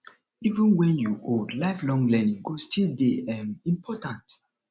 even wen you old lifelong learning go still dey um important